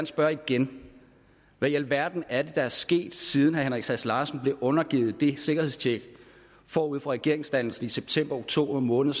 spørge igen hvad i alverden er det der er sket siden herre henrik sass larsen blev undergivet det sikkerhedstjek forud for regeringsdannelsen i september oktober måned